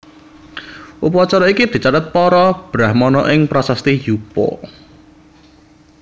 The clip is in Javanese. Upacara iki dicatet para Brahmana ing prasasti Yupa